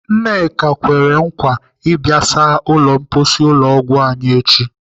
Nneka kwere nkwa ịbịa saa ụlọ mposi ụlọ ọgwụ anyị echi.